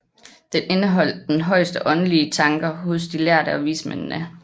Den indeholdt den højeste åndelige tanker hos de lærde og vismændene